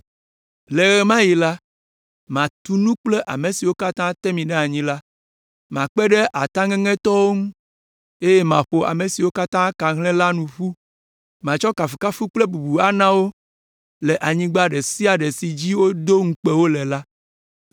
Le ɣe ma ɣi la, matu nu kple ame siwo katã te mi ɖe anyi la, makpe ɖe ataŋeŋetɔwo ŋu, eye maƒo ame siwo ka hlẽ la nu ƒu. Matsɔ kafukafu kple bubu ana wo le anyigba ɖe sia ɖe si dzi wodo ŋukpe wo le.